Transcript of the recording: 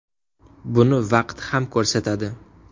Buni vaqt ham ko‘rsatadi.